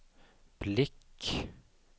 blick